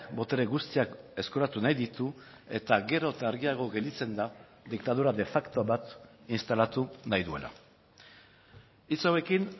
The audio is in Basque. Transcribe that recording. botere guztiak eskuratu nahi ditu eta gero eta argiago gelditzen da diktadura de facto bat instalatu nahi duela hitz hauekin